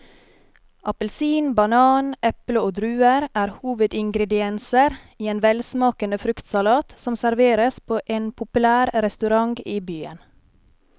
Appelsin, banan, eple og druer er hovedingredienser i en velsmakende fruktsalat som serveres på en populær restaurant i byen.